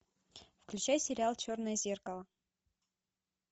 включай сериал черное зеркало